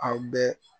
Aw bɛ